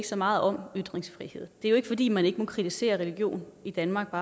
så meget om ytringsfrihed det er jo ikke fordi man ikke må kritisere religion i danmark